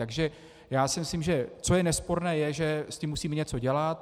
Takže já si myslím, že co je nesporné, je, že s tím musíme něco dělat.